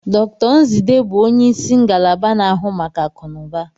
Dr Nzidee bụ onye isi ngalaba na-ahụ maka akụnụba.